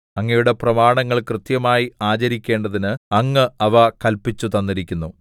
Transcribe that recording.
അങ്ങയുടെ പ്രമാണങ്ങൾ കൃത്യമായി ആചരിക്കേണ്ടതിന് അങ്ങ് അവ കല്പിച്ചുതന്നിരിക്കുന്നു